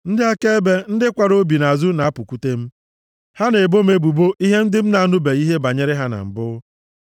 Ndị akaebe, ndị kwara obi nʼazụ na-apụkwute m; ha na-ebo m ebubo ihe ndị m na-anụbeghị ihe banyere ha na mbụ.